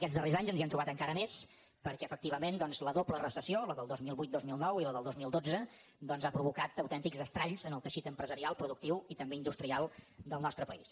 aquests darrers anys ens hi hem trobat encara més perquè efectivament doncs la doble recessió la del dos mil vuit dos mil nou i la del dos mil dotze ha provocat autèntics estralls en el teixit empresarial productiu i també industrial del nostre país